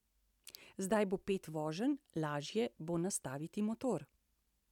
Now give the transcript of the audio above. Zdaj bo pet voženj, lažje bo nastaviti motor.